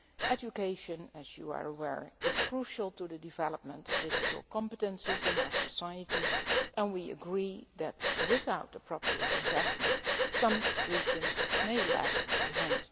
Education, as you are aware, is crucial to the development of digital competences in our society and we agree that without appropriate investment, some regions may lag behind.